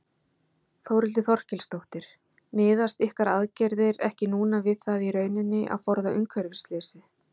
Þórhildur Þorkelsdóttir: Miðast ykkar aðgerðir ekki núna við það í rauninni að forða umhverfisslysi?